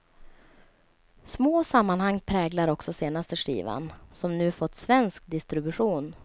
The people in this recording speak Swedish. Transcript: Små sammanhang präglar också senaste skivan, som nu fått svensk distribution.